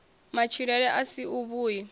matshilele a si a vhui